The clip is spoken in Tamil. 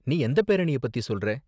நீ எந்த பேரணிய பத்தி சொல்ற?